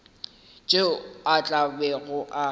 tšeo a tla bego a